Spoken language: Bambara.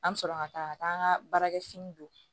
An bɛ sɔrɔ ka taa ka taa an ka baarakɛ fini don